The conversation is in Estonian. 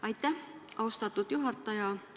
Aitäh, austatud juhataja!